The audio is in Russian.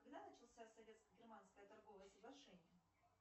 когда начался советско германское торговое соглашение